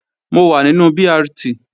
Mo wà nínú BRT